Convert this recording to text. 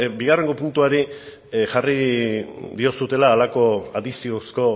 bigarren puntuari jarri diozuela halako adiziozko